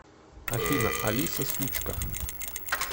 афина алиса сучка